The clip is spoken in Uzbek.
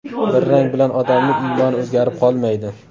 Bir rang bilan odamning iymoni o‘zgarib qolmaydi.